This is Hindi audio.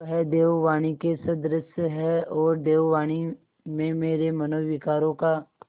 वह देववाणी के सदृश हैऔर देववाणी में मेरे मनोविकारों का